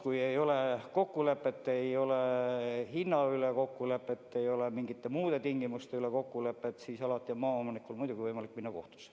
Kui ei ole hinnakokkulepet, ei ole mingite muude tingimuste kokkulepet, siis alati on maaomanikul võimalik minna kohtusse.